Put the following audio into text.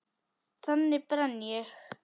Þannig brenn ég.